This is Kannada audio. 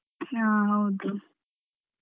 ಹ ಹೌದು.